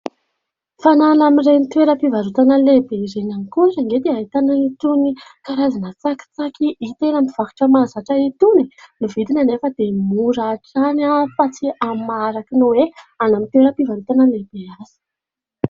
Fa na any amin'ireny toeram-pivarotana lehibe ireny ihany koa ary anie dia ahitana itony karazana tsakitsaky hita eny amin'ny mpivarotra mahazatra itony. Ny vidiny anefa dia mora hatrany fa tsy amin'ny maha araka ny hoe any amin'ny toeram-pivarotana lehibe azy.